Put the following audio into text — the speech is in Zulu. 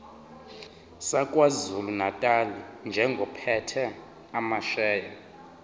sakwazulunatali njengophethe amasheya